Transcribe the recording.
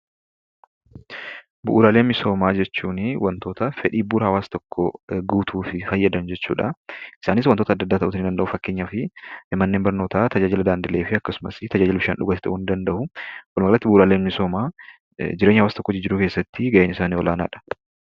Bu'uuraalee misoomaa jechuunii wantoota fedhii bu'uura hawaasa tokkoo guutuufi fayyadan jechuudha. Isaanis wantoota adda addaa ta'uutii ni danda'uu fakkeenyaafii manneen barnootaa, tajaajila daandilee fi akkasumasi tajaajila bishaan dhugaatii ta'uu nii danda'uu. Walumaa galatti bu'uuraaleen misoomaa jireenya hawaasa tokkoo jijjiiruu keessatti ga'eensaanii olaanaadha.